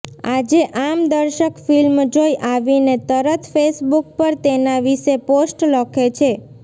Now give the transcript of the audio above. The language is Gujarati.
આજે આમદર્શક ફ્લ્મિ જોઈ આવીને તરત ફેસબુક પર તેના વિશે પોસ્ટ લખે છે